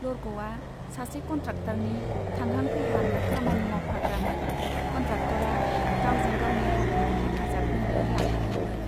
लरग'वा सासे कन्ट्राक्टरनि थांहां फैहां खामानि मावफाग्रामोन कन्ट्राक्टरा गावजों गावनि हाबायाव हेफाजाब होनो लाफादोंमोन।